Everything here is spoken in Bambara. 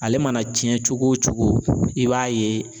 Ale mana cɛn cogo o cogo i b'a ye